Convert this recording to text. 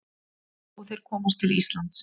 Og þeir komast til Íslands.